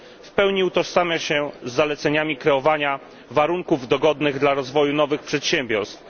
W pełni utożsamia się on z zaleceniami kreowania warunków dogodnych dla rozwoju nowych przedsiębiorstw.